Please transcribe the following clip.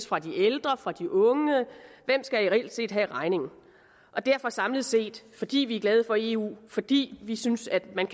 fra de ældre fra de unge hvem skal reelt set have regningen derfor samlet set fordi vi er glade for eu fordi vi synes at man